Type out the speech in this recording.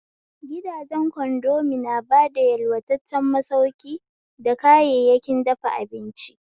Gidajen kondomi na bada yalwataccen masauki da kayayyakin dafa abinci.